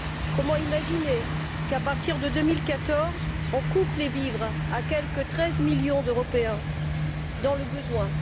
Comment imaginer qu'à partir de 2014, on coupe les vivres à quelque 13 millions d'Européens dans le besoin?